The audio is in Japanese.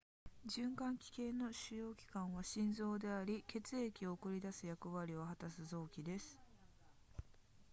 循環器系の主要器官は心臓であり血液を送り出す役割を果たす臓器です